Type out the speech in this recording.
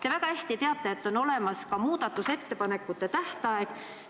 Te väga hästi teate, et on olemas ka muudatusettepanekute esitamise tähtaeg.